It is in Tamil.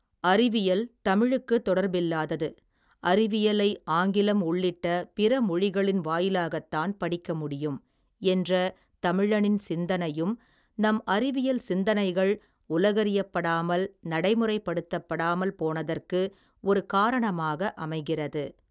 அறிவியல், தமிழுக்குத் தொடர்பில்லாதது, அறிவியலை ஆங்கிலம் உள்ளிட்ட, பிறமொழிகளின் வாயிலாகத் தான், படிக்க முடியும், என்ற தமிழனின் சிந்தனையும், நம் அறிவியல் சிந்தனைகள், உலகறியப்படாமல், நடைமுறைப்படுத்தப்படாமல், போனதற்கு ஒரு காரணமாக அமைகிறது.